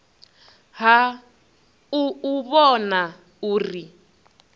ha u u vhona uri